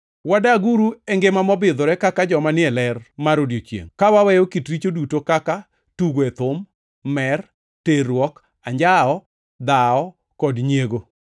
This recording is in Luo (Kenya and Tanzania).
Wadaguru e ngima mobidhore kaka joma ni e ler mar odiechiengʼ, ka waweyo kit richo duto kaka, tugo e thum, mer, terruok, anjawo, dhawo kod nyiego.